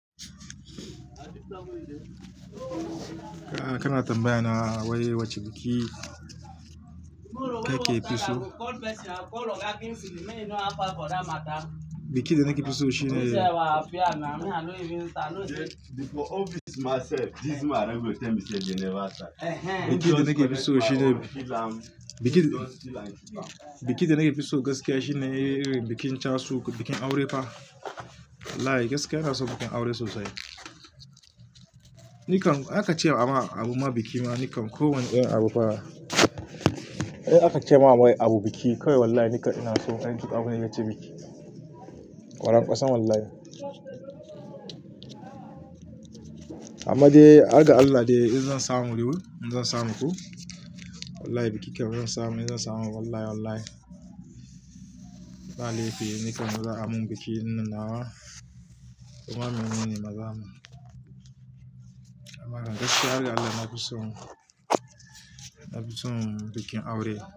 Kana tambayana wai wace biki kakefi so? Biki da nake fiso shine, biki da nake fiso gaskiya shine bikin chasu ko bikin aure fa. Wallahi gaskiya inason bikin aure sosai. Ni kam aka ce wa abu ma biki ma, ni kam kowane irin abu fa, idan aka ce ma wai abu biki kawai wallahi ni ka ina so. Ina son duk abune mai biki. Kwarankwasan wallahi. Amma dai, har ga Allah dai in zan samu riko, in zan samu ku. Wallahi bikinka zan samu, in zan samu wallahi wallahi. Ba'a laifi, ni kam maza amon biki ina nawa. Kuma min mene maza amon. Amma gaskiya har ga Allah na fi so, na fi so bikin aure.